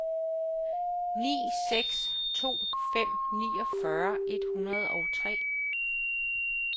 ni seks to fem niogfyrre et hundrede og tre